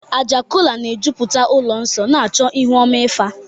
Àjà kọla na-ejupụta ụlọ nsọ, na-achọ ihu ọma Ifa.